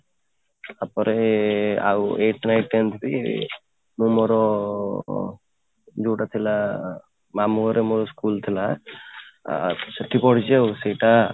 ତାପରେ ଆଉ eight, ninth, tenth ବି ମୁଁ ମୋର ଯୋଉଟା ଥିଲା ମାମୁଁ ଘରେ ମୋର school ଥିଲା ଆଉ ସେଇଠି କ'ଣ ହେଇଛି ସେଇଟା